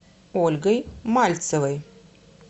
ольгой мальцевой